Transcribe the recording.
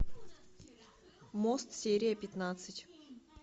мост серия пятнадцать